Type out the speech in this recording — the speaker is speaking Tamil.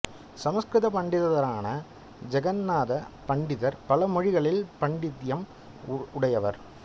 சம்ஸ்கிருத பண்டிதரான ஜெகந்நாத பண்டிதர் பல மொழிகளில் பாண்டித்தியம் உடையவர்